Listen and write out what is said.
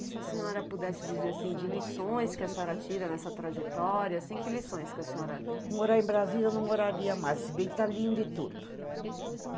E se a senhora pudesse dizer, assim, de lições que a senhora tira nessa trajetória, assim, que lições que a senhora... Morar em Brasília eu não moraria mais, se bem que tá lindo e tudo.